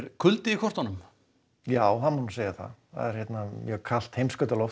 kuldi í kortunum já það má segja það kalt heimsskautaloft